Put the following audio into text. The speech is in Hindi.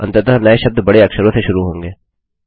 अंततः नये शब्द बड़े अक्षरों से शुरू होंगे